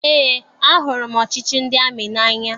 Eé, ahụrụ m ọchịchị ndị amị n'anya.